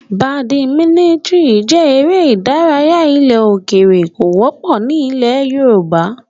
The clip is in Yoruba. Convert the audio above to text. Badimítìnì jẹ́ eré ìdárayá ilẹ̀ òkèrè, kò wọ́pọ̀ ní ilẹ̀ yoòbá